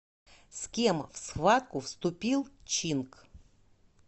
с кем в схватку вступил чинк